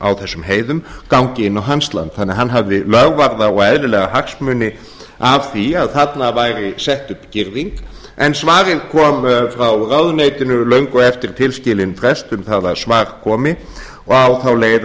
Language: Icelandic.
á þessum heiðum gangi inn á hans land þannig að hann hafði lögvarða og eðlilega hagsmuni af því að þarna væri sett upp girðing en svarið kom frá ráðuneytinu löngu eftir tilskilinn frest um það að svar komi og á þá leið